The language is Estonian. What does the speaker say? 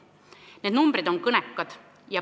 Need numbrid on kõnekad.